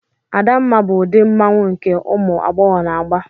Adamma bụ ụdị mmanwụ nke ụmụ agbọghọ na-agba.